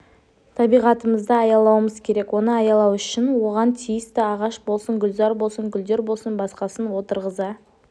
табиғатымызды аялауымыз керек оны аялау үшін оған тиісті ағаш болсын гүлзар болсын гүлдер болсын басқасын отырғыза